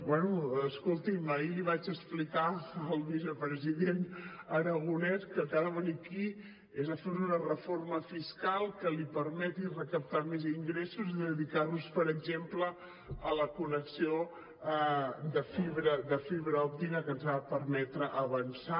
bé escolti’m ahir li vaig explicar al vicepresident aragonès que ha de venir aquí a fer una reforma fiscal que li permeti recaptar més ingressos i dedicar los per exemple a la connexió de fibra òptica que ens ha de permetre avançar